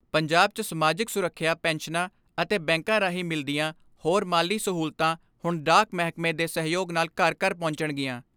ਪੰਜਾਬ 'ਚ ਸਮਾਜਿਕ ਸੁਰੱਖਿਆ ਪੈਨਸ਼ਨਾਂ ਅਤੇ ਬੈਂਕਾਂ ਰਾਹੀਂ ਮਿਲਦੀਆਂ ਹੋਰ ਮਾਲੀ ਸਹੂਲਤਾਂ ਹੁਣ ਡਾਕ ਮਹਿਕਮੇ ਦੇ ਸਹਿਯੋਗ ਨਾਲ ਘਰ ਘਰ ਪਹੁੰਚਣਗੀਆਂ।